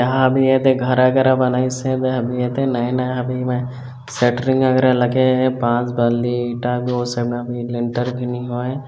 अभी एदे घर वागेरा बनाइसे अभी एदे नया नया अभिम सेटरिंग वागेरा लगे हे पास बाली ईटा सो अ लेन्टर भी नई होये।